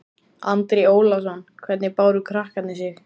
Andri Ólafsson: Hvernig báru krakkarnir sig?